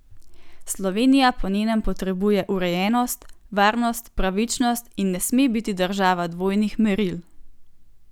Slovenija po njenem potrebuje urejenost, varnost, pravičnost in ne sme biti država dvojnih meril.